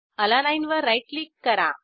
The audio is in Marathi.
अलानीने वर राईट क्लिक करा